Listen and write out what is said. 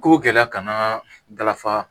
Ko gɛlɛya kana dala fa